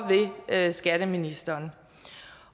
ved skatteministeren